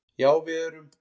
Já við erum